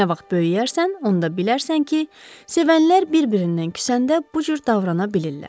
Nə vaxt böyüyərsən, onda bilərsən ki, sevənlər bir-birindən küsəndə bu cür davrana bilirlər.